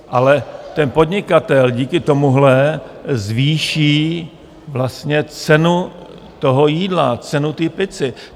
Ale ten podnikatel díky tomuhle zvýší vlastně cenu toho jídla, cenu té pizzy.